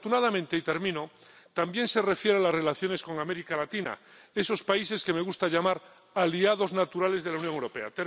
Pero, afortunadamente, también se refiere a las relaciones con América Latina, esos países que me gusta llamar aliados naturales de la Unión Europea.